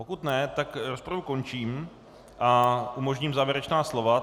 Pokud ne, tak rozpravu končím a umožním závěrečná slova.